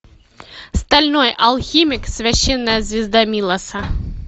стальной алхимик священная звезда милоса